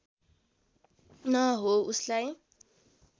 न हो उसलाई